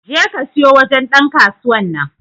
je ka siyo wajen Dan kasuwan nan.